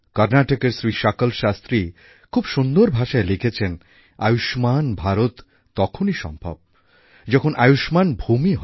কর্ণাটকের শ্রী শকল শাস্ত্রী খুব সুন্দর ভাষায় লিখেছেন আয়ুষ্মাণ ভারত তখনই সম্ভব যখন আয়ুষ্মাণ ভূমি হবে